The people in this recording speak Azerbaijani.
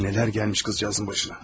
Nələr gəlmiş qızcığazın başına.